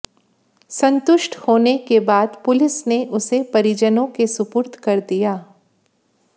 संतुष्ट होने के बाद पुलिस ने उसे परिजनों के सुपुर्द कर दिया